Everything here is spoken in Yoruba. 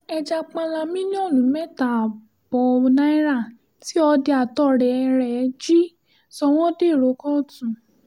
ẹja páńlá mílíọ̀nù mẹ́ta ààbọ̀ náírà tí ọ̀dẹ̀ àtọ̀rẹ́ ẹ̀ jí sọ wọ́n dèrò kóòtù